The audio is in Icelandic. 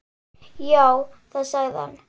Já, það sagði hann.